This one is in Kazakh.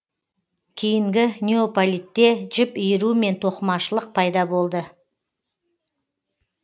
кейінгі неополитте жіп иіру мен тоқымашылық пайда болды